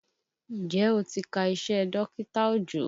Njẹ́ o ti ka iṣẹ́ dọkita Òjó?